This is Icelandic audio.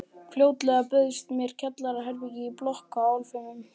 Fljótlega bauðst mér kjallaraherbergi í blokk í Álfheimum.